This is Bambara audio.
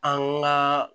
An ŋaa